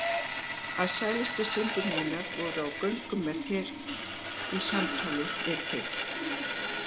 Að sælustu stundir mínar voru á göngu með þér, í samtali við þig.